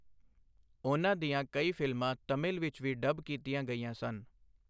ਉਨ੍ਹਾਂ ਦੀਆਂ ਕਈ ਫ਼ਿਲਮਾਂ ਤਮਿਲ ਵਿੱਚ ਵੀ ਡਬ ਕੀਤੀਆਂ ਗਈਆਂ ਸਨ।